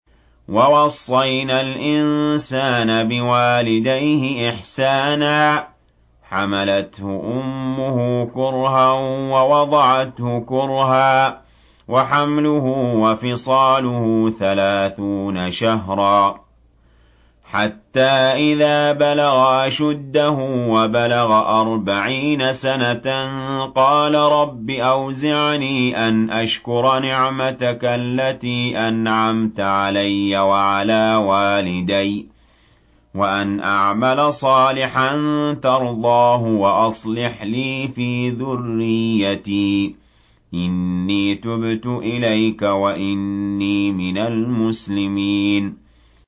وَوَصَّيْنَا الْإِنسَانَ بِوَالِدَيْهِ إِحْسَانًا ۖ حَمَلَتْهُ أُمُّهُ كُرْهًا وَوَضَعَتْهُ كُرْهًا ۖ وَحَمْلُهُ وَفِصَالُهُ ثَلَاثُونَ شَهْرًا ۚ حَتَّىٰ إِذَا بَلَغَ أَشُدَّهُ وَبَلَغَ أَرْبَعِينَ سَنَةً قَالَ رَبِّ أَوْزِعْنِي أَنْ أَشْكُرَ نِعْمَتَكَ الَّتِي أَنْعَمْتَ عَلَيَّ وَعَلَىٰ وَالِدَيَّ وَأَنْ أَعْمَلَ صَالِحًا تَرْضَاهُ وَأَصْلِحْ لِي فِي ذُرِّيَّتِي ۖ إِنِّي تُبْتُ إِلَيْكَ وَإِنِّي مِنَ الْمُسْلِمِينَ